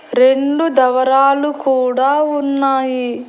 రెండు డబరాలు కూడా ఉన్నాయి.